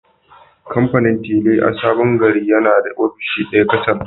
Kamfanin tile a Sabon Gari yana da ofishi ɗaya kacal